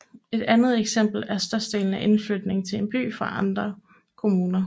Et andet eksempel er størrelsen af indflytning til en by fra andre kommuner